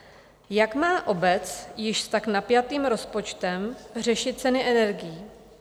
Jak má obec s již tak napjatým rozpočtem řešit ceny energií?